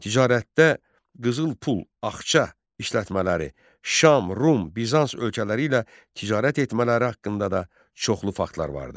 Ticarətdə qızıl pul, axça işlətmələri, Şam, Rum, Bizans ölkələri ilə ticarət etmələri haqqında da çoxlu faktlar vardı.